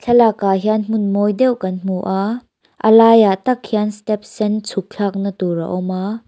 thlalakah hian hmun mawi deuh kan hmu a a laiah tak hian step sen chhuk thlakna tur a awm a.